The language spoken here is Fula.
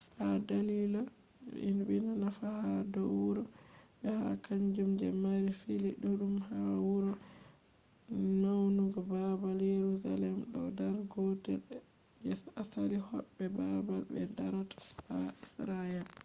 ha dalila je dina nafu ha do wuro be ha kanjum je mari fili dudum hado wuro naiwudum babal jerusaem do dar gotel je asali hobbe babal be darata ha israel